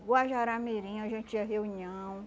Guajará-Mirim, a gente tinha reunião.